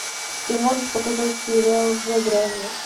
ты можешь показать сериал за гранью